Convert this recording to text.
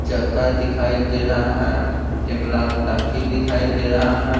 चक्का दिखाई दे रहा है एक लाल टंकी दिखाई दे रहा है।